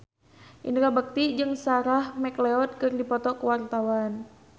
Indra Bekti jeung Sarah McLeod keur dipoto ku wartawan